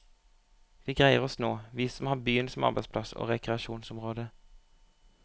Vi greier oss nå, vi som har byen som arbeidsplass og rekreasjonsområde.